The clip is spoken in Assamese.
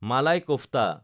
মালাই কফ্তা